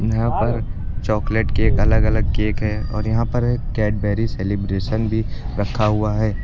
यहां पर chocolate cake अलग अलग केक है और यहां पर एक कैडबरी सेलिब्रेशन भी रखा हुआ है।